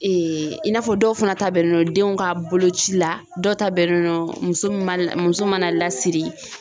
Ee i n'a fɔ dɔw fana ta bɛnnen do denw ka boloci la dɔw ta bɛnnen do muso min ma na muso mana lasiri